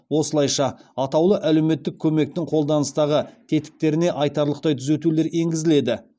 осылайша атаулы әлеуметтік көмектің қолданыстағы тетіктеріне айтарлықтай түзетулер енгізіледі